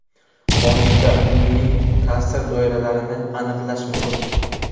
Qonunda uning ta’sir doiralarini aniqlash muhim.